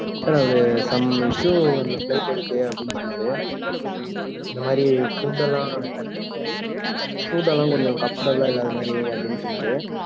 sir அவரு some issue அந்த flight ல இருக்கு, அப்படின்னு சொன்னாரு இந்த மாதிரி food எல்லாம், food எல்லாம் கொஞ்சம் comfortable ஆ இல்லாத மாதிரி, அப்படின்னு சொன்னாரு.